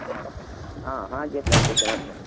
ಆ ಹಾಗೆ plantation ಮಾಡ್ತಾರೆ.